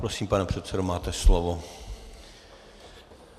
Prosím, pane předsedo, máte slovo.